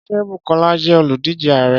Ṣé Bùkọ́lá jẹ́ olùdíje ààrẹ́?